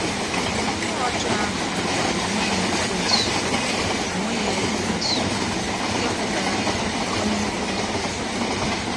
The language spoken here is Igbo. Mmụọ ọjọọ ahụ mekwara onwe ya Ekwensu onwe ya Ekwensu, nke pụtara “ Onye Nkwutọ. ”